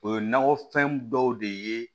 O ye nakɔfɛn dɔw de ye